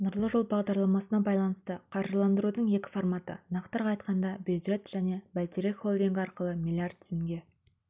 нұрлы жол бағдарламасына байланысты қаржыландырудың екі форматы нақтырақ айтқанда бюджет және бәйтерек холдингі арқылы миллиард теңге